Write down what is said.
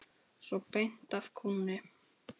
Svona beint af kúnni.